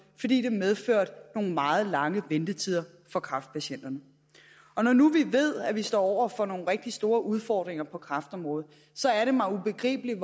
fordi det medførte nogle meget lange ventetider for kræftpatienterne når nu vi ved at vi står over for nogle rigtig store udfordringer på kræftområdet så er det mig ubegribeligt